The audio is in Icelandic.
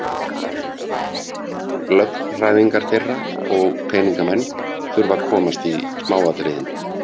Lögfræðingar þeirra og peningamenn þurfa að komast í smáatriðin.